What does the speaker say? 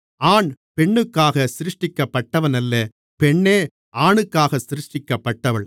ஆண் பெண்ணுக்காகச் சிருஷ்டிக்கப்பட்டவனல்ல பெண்ணே ஆணுக்காக சிருஷ்டிக்கப்பட்டவள்